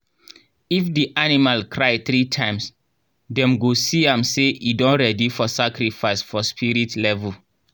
if the animal cry three times dem go see am say e don ready for sacrifice for spirit level.